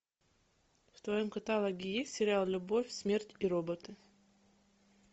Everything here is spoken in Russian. в твоем каталоге есть сериал любовь смерть и роботы